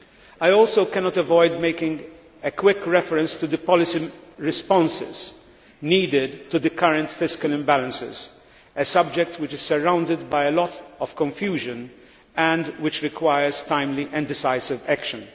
I also cannot avoid making a quick reference to the policy responses needed to the current fiscal imbalances, a subject which is surrounded by a lot of confusion and which requires timely and decisive action.